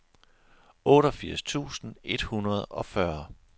otteogfirs tusind et hundrede og fyrre